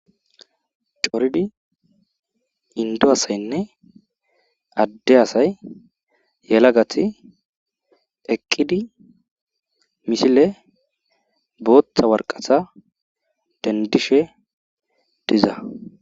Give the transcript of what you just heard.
Coridi indo asaynne adde asay yelagati eqqidi misile booththa waraqata dendishe diza.